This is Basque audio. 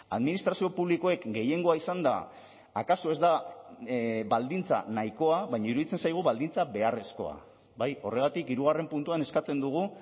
administrazio publikoek gehiengoa izanda akaso ez da baldintza nahikoa baina iruditzen zaigu baldintza beharrezkoa bai horregatik hirugarren puntuan eskatzen dugu